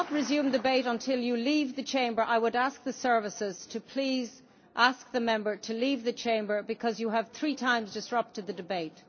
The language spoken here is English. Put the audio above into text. will not resume the debate until you leave the Chamber, Mr Buonanno. I would ask the services to please ask the Member to leave the Chamber because he has three times disrupted the debate.